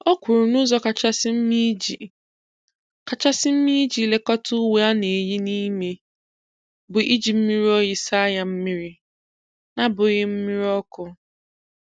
O kwuru na ụzọ kachasị mma iji kachasị mma iji lekọta uwe a na-eyi n'ime bụ iji mmiri oyi saa ya mmiri, n'abughị mmiri ọkụ.